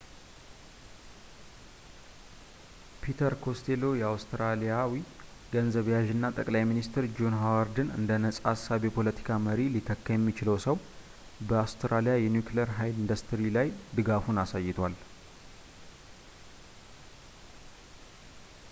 ፒተር ኮስቴሎ አውስትራሊያዊ ገንዘብ ያዥ እና ጠቅላይ ሚኒስቴር ጆን ሀዋርድን እንደ ነፃ አሳቢ የፖለቲካ መሪ ሊተካ የሚችለው ሰው በአውስትራሊያ የኒኩሊየር ኃይል ኢንዲስትሪ ላይ ድጋፉን አሳይቷል